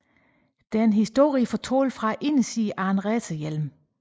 Det er en historie fortalt fra indersiden af en racerhjelm